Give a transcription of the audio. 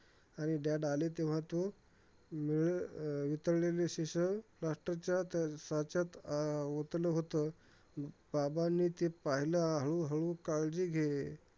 आणि dad आले तेव्हा, तो मिळ अं वितळलेले शिसे plaster च्या साच्यात अं ओतलं होत. बाबांनी ते पाहिलं, हळूहळू. काळजी घे!